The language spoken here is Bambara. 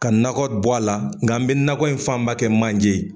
Ka nakɔ bɔ a la nka n be nakɔ in fanba kɛ manje ye